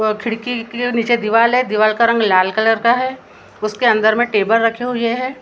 वो खिड़की के नीचे दीवाल है दीवाल का रंग लाल कलर का है उसके अंदर मे टेबल रखे हुए हैं।